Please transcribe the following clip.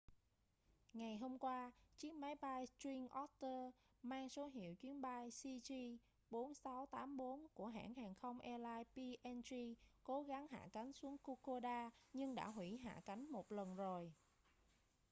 ngày hôm qua chiếc máy bay twin otter mang số hiệu chuyến bay cg4684 của hãng hàng không airlines png cố gắng hạ cánh xuống kokoda nhưng đã huỷ hạ cánh một lần rồi